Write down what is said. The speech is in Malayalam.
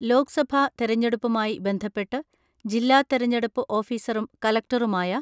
ലോക്സഭാ തെരഞ്ഞെടുപ്പുമായി ബന്ധപ്പെട്ട് ജില്ലാ തെരഞ്ഞെടുപ്പ് ഓഫിസറും കളക്ടറുമായ